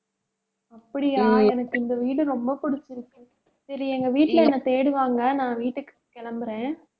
அப்படியா எனக்கு இந்த வீடு ரொம்ப பிடிச்சிருக்கு. சரி, எங்க வீட்டுல என்னை தேடுவாங்க. நான் வீட்டுக்கு கிளம்புறேன்